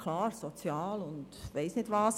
Klar: Sozial, und weiss ich nicht was.